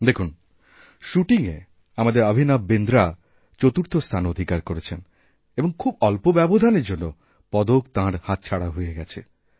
দেখুন শ্যুটিংএ আমাদের অভিনববিন্দ্রা চতুর্থ স্থান অধিকার করেছেন এবং খুব অল্প ব্যবধানের জন্য পদক তাঁরহাতছাড়া হয়ে গেছে